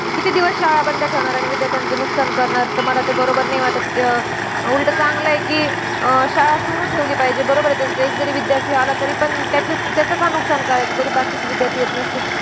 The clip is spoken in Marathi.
किती दिवस शाळा बंद ठेवणार आणि विद्यार्थ्यांचं नुकसान करणार. तर मला ते बरोबर नाही वाटतं. अं उलटं चांगलंय कि शाळा सुरु ठेवली पाहिजे. बरोबर आहे त्यांचं. एक जरी विद्यार्थी आला तरीपण त्याची~ त्याचं का नुकसान करायचं, जरी बाकीचे विद्यार्थी येत नसतील.